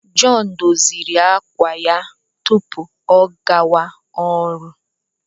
John doziri àkwà ya tupu ọ gawa ọrụ.